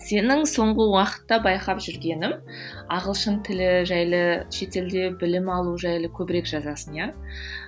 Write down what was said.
сенің соңғы уақытта байқап жүргенім ағылшын тілі жайлы шетелде білім алу жайлы көбірек жазасың иә